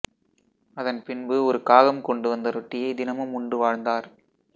அதன் பின்பு ஒரு காகம் கொண்டுவந்த ரொட்டியை தினமும் உண்டு வாழ்ந்தார்